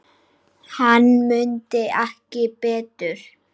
Hann mundi ekki betur!